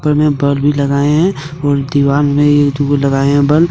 Hall में bulb भी लगाए हैं और दीवाल मे ये दुगो लगाए हैं बल्ब ।